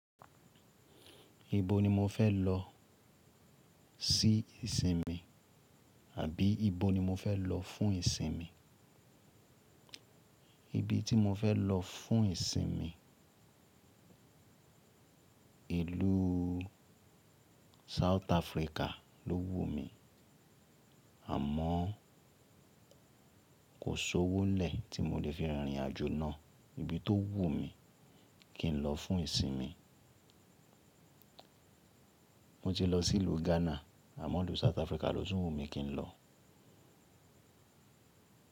Ibo ni mo fẹ́ lọ sí ìsinmi àbí ibo ni mo fẹ́ lọ fún ìsinmi? Ibi tí mo fẹ́ lọ fún ìsinmi, ìlú South Africa ló wù mí, àmọ́ kò sowó lẹ̀ tí mo lè fi rìnrìn àjò náà. Ibi tó wù mí kí n lọ fún ìsinmi. Mo ti lọ sí ìlú Ghana àmọ́ ìlú South Africa ló tún wù mí kí n lọ.